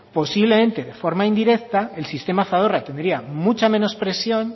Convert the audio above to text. posiblemente de forma indirecta el sistema zadorra tendría mucha menos presión